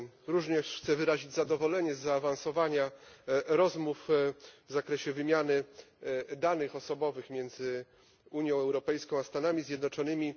Również chcę wyrazić zadowolenie z zaawansowania rozmów w zakresie wymiany danych osobowych między Unią Europejską a Stanami Zjednoczonymi.